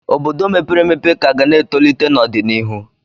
Obodo mepere emepe ka ga na-etolite n'ọdịnihu.